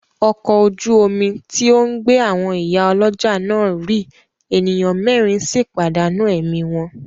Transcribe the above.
Ọkọ̀ ojú omi tí ó ń gbé àwọn ìyá ọlọ́jà náà rì, ènìyàn mẹ́rìn sì pàdánù ẹ̀mí wọn.